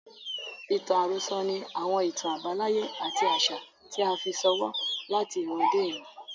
Ìtàn àròsọ ni àwọn ìtàn àbáláyé àti àṣà tí a fi ṣọwọ́ láti ìran dé ìran.